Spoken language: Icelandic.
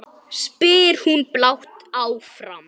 spyr hún blátt áfram.